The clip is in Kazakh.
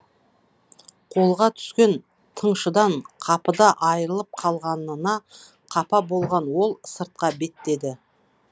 қолға түскен тыңшыдан қапыда айрылып қалғанына қапа болған ол сыртқа беттеді